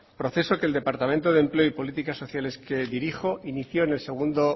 proceso que el departamento de empleo y políticas sociales que dirijo inició en el segundo